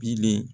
Bilen